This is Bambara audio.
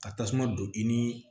Ka tasuma don i ni